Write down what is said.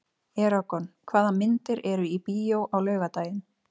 Eragon, hvaða myndir eru í bíó á laugardaginn?